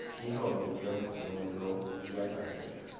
titfombi temvunelo tiyatsandzeka